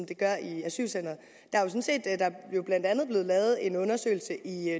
det gør i asylcenteret der er jo blandt andet blevet lavet en undersøgelse i